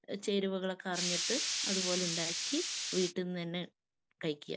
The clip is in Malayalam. ചേരുവകളൊക്കെ അറിഞ്ഞിട്ട് അതുപോലെ ഉണ്ടാക്കി വീട്ടിന്നു തന്നെ കഴിക്കുക.